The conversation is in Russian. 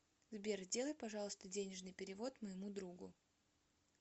сбер сделай пожалуйста денежный перевод моему другу